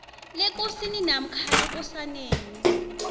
lekosini namkha lekosaneni